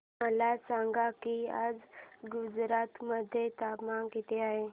मला सांगा की आज गुजरात मध्ये तापमान किता आहे